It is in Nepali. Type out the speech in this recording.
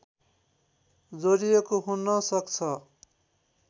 जोडिएको हुन सक्छ